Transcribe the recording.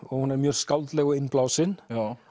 hún er mjög skáldleg og innblásin